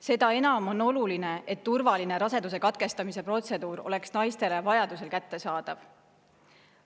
Seda enam on oluline, et turvaline raseduse katkestamise protseduur oleks naistele vajaduse korral kättesaadav.